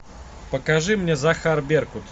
покажи мне захар беркут